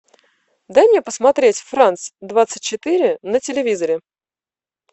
дай мне посмотреть франс двадцать четыре на телевизоре